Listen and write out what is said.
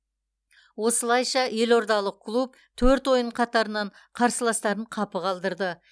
осылайша елордалық клуб төрт ойын қатарынан қарсыластарын қапы қалдырды